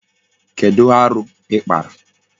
Kedu aru ikpara?